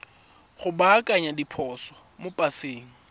go baakanya diphoso mo paseng